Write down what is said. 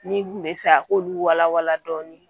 Min kun bɛ fɛ a k'olu walawala dɔɔni